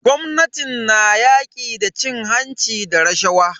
Gwamnatin na yaƙi da cin hanci da rashawa.